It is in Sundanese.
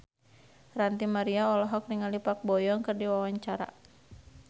Ranty Maria olohok ningali Park Bo Yung keur diwawancara